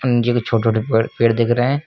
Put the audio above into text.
जो कि छोटे छोटे पेड़ पेड़ दिख रहे हैं।